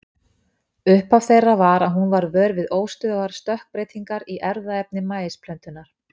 Upphaf þeirra var að hún varð vör við óstöðugar stökkbreytingar í erfðaefni maísplöntunnar.